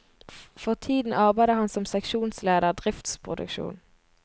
For tiden arbeider han som seksjonsleder, driftsproduksjon.